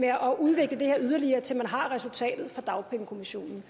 at udvikle det her yderligere til man har resultatet fra dagpengekommissionen